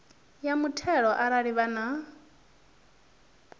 ya muthelo arali vha na